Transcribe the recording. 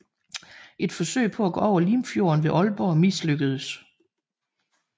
Et forsøg på at gå over Limfjorden ved Aalborg mislykkedes